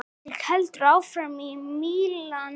Ketill heldur áfram til Mílanó.